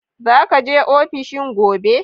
Za ka je ofishi gobe?